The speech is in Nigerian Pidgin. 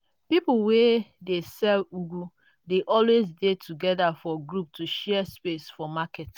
people wey they sell ugu dey always dey together for group to share space for market.